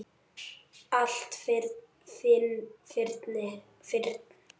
Allt fyrnt.